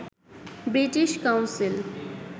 British council